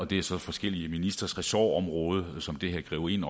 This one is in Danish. det er så forskellige ministres ressortområde som det her griber ind